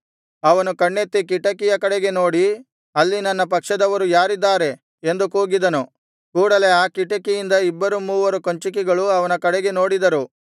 ಅವನು ಕಣ್ಣೆತ್ತಿ ಕಿಟಕಿಯ ಕಡೆಗೆ ನೋಡಿ ಅಲ್ಲಿ ನನ್ನ ಪಕ್ಷದವರು ಯಾರಿದ್ದಾರೆ ಎಂದು ಕೂಗಿದನು ಕೂಡಲೆ ಆ ಕಿಟಕಿಯಿಂದ ಇಬ್ಬರು ಮೂವರು ಕಂಚುಕಿಗಳು ಅವನ ಕಡೆಗೆ ನೋಡಿದರು